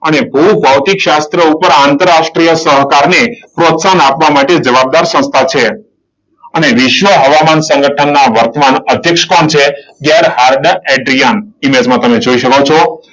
અને ઉપર ભૂ ભૌતિક શાસ્ત્ર ઉપર આંતરરાષ્ટ્રીય સહકારને પ્રોત્સાહન આપવા માટે જવાબદાર સંસ્થા છે. અને વિશ્વ હવામાન સંગઠનના વર્તમાન અધ્યક્ષ કોણ છે? Gerhard Adrian. ઈમેજમાં તમે જોઈ શકો છો.